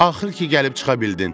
Axır ki, gəlib çıxa bildin.